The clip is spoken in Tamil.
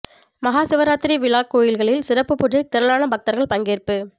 மகா சிவராத்திரி விழா கோயில்களில் சிறப்பு பூஜை திரளான பக்தர்கள் பங்கேற்பு